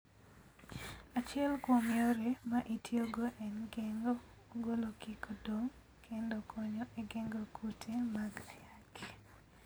Achiel kuom yore ma itiyogo en geng'o ogolo kik odong kendo konyo e geng'o kute mag ayaki.